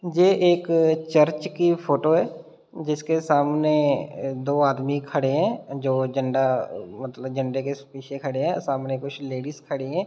जे एक अ चर्च की फोटो है जिसके सामने दो आदमी खड़े हैं जो झंडा अ मतलब झंडे के पीछे खड़े है सामने कुछ लेडिस खड़ी हैं।